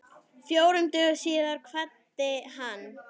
Fjórum dögum síðar kvaddi hann.